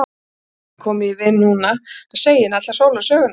Hann gat ekki komið því við núna að segja henni alla sólarsöguna.